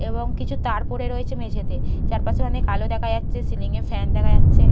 এবং কিছু তার পড়ে রয়েছে মেঝেতে চারপাশে অনেক আলো দেখা যাচ্ছে সিলিং -এ ফ্যান দেখা যাচ্ছে।